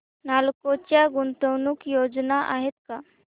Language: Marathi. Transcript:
नालको च्या गुंतवणूक योजना आहेत का